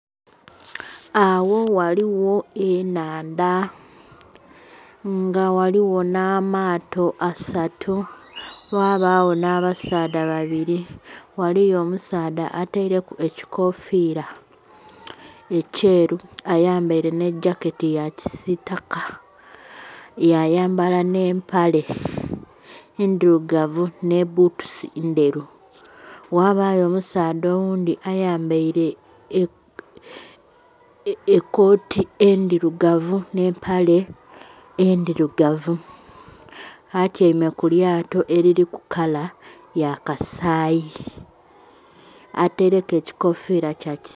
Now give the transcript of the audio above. Agho ghaligho ennhandha, nga ghaligho nh'amaato asatu, ghabagho nh'abasaadha babili. Waliyo omusaadha ataileku ekikofiira ekyeru, ayambaile nh'ejaketi ya kisiitaka, yayambala nh'empale ndhilugavu nhi bbutusi ndheru. Ghabayo omusaadha oghundhi ayambaile ekooti endhilugavu nh'empale endhilugavu. Atyaime ku lyato eliliku kala ya kasaayi. Ataileku ekikofiira kya ki...